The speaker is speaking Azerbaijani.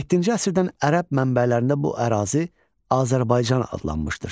Yeddinci əsrdən ərəb mənbələrində bu ərazi Azərbaycan adlanmışdır.